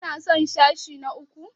Ki na son sashi na ku?